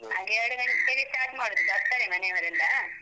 ಹಾಗೆ ಎರ್ಡು ಗಂಟೆಗೆ start ಮಾಡುದು, ಬರ್ತಾರೆ ಮನೆಯವರೆಲ್ಲ.